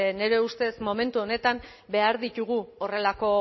nire ustez momentu honetan behar ditugu horrelako